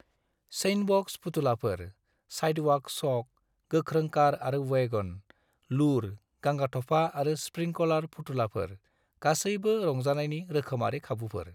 Sandbox फुथुलाफोर, sidewalk chalk, गोख्रों car आरो वैगन, लुर, गांगाथफा आरो स्प्रिंकलार फुथुलाफोर गासैबो रंजानायनि रोखोमारि खाबुफोर।